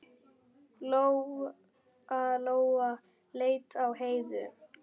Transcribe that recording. Lóa-Lóa leit á Heiðu.